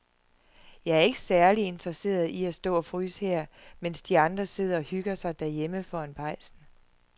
Jeg er ikke særlig interesseret i at stå og fryse her, mens de andre sidder og hygger sig derhjemme foran pejsen.